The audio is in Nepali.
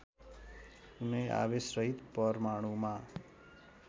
कुनै आवेशरहित परमाणुमा